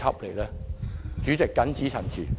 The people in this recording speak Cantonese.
代理主席，我謹此陳辭。